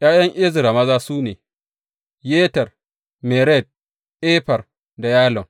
’Ya’yan Ezra maza su ne, Yeter, Mered, Efer da Yalon.